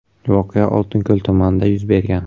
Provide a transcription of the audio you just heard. Voqea Oltinko‘l tumanida yuz bergan.